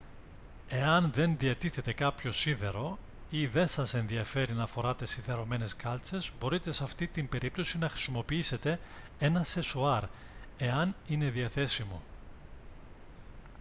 εάν δεν διατίθεται κάποιο σίδερο ή δεν σας ενδιαφέρει να φοράτε σιδερωμένες κάλτσες μπορείτε σε αυτή την περίπτωση να χρησιμοποιήσετε ένα σεσουάρ εάν είναι διαθέσιμο